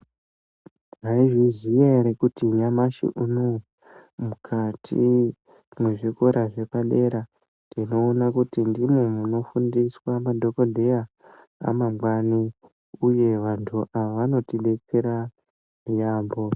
Mwaizviziya ere kuti nyamashi unowu mukati mwezvikora zvepadera ndinowona kuti ndimo munofundiswa madhokodheya amangwani uye vantu ava vanotidetsera yaamho.